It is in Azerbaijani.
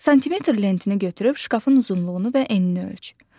Santimetr lentini götürüb şkafın uzunluğunu və enini ölç.